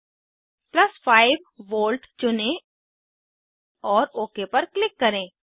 5V plus 5 volt चुनें और okay पर क्लिक करें